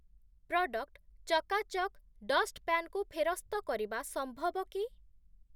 Product ଚକାଚକ୍‌ dustpan କୁ ଫେରସ୍ତ କରିବା ସମ୍ଭବ କି?